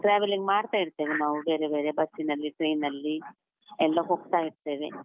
Traveling ಮಾಡ್ತ ಇರ್ತೇವೆ ನಾವು ಬೇರೆ ಬೇರೆ ಬಸ್ಸಿನಲ್ಲಿ, train ಅಲ್ಲಿ, ಎಲ್ಲ ಹೋಗ್ತಾ ಇರ್ತೇವೆ.